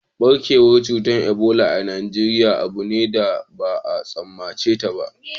Ɓarkewar cutar Ebola a Najeriya abu ne da ba a tsammace shi ba